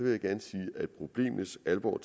jeg gerne sige at problemets alvor